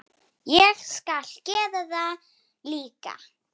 Ég skal gera það líka.